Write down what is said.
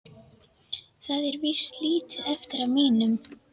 Það er víst lítið eftir af mínum!